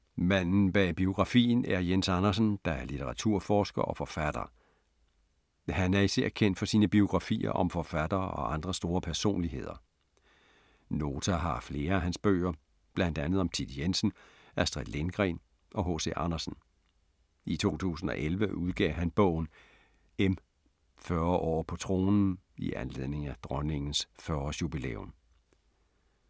Manden bag biografien er Jens Andersen, der er litteraturforsker og forfatter. Han er især kendt for sine biografier om forfattere og andre store personligheder. Nota har flere af hans bøger, blandt andet om Thit Jensen, Astrid Lindgren og H.C. Andersen. I 2011 udgav han bogen M - 40 år på tronen i anledning af Dronningens 40 års jubilæum.